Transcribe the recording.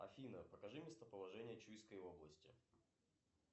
афина покажи местоположение чуйской области